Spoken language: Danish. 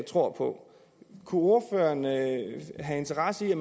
tror på kunne ordføreren have interesse i at